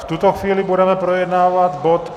V tuto chvíli budeme projednávat bod